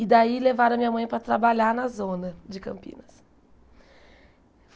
E daí levaram a minha mãe para trabalhar na zona de Campinas.